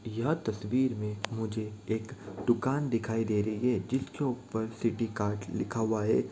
यह तस्वीर में मुझे एक दुकान दिखाई दे रही है जिसके उपर सिटीकार्ट लिखा हुआ है।